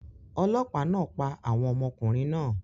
Olopa naa pa awọn ọmọkunrin naa